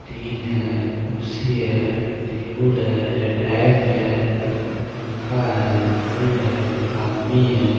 Tin है कुर्सी है टेबुल है रैक है पंखा है बल्ब है आदमी है।